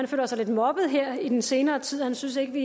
føler sig lidt mobbet her i den senere tid han synes vi